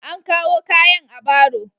An kawo kayan a baro.